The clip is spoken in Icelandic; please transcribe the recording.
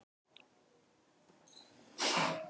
Trúin gefur andlegan styrk og andlega fyllingu.